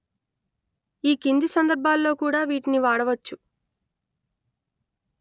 ఈ కింది సందర్భాల్లో కూడా వీటిని వాడవచ్చు